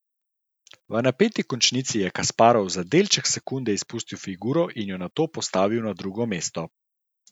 V napeti končnici je Kasparov za delček sekunde izpustil figuro in jo nato postavil na drugo mesto.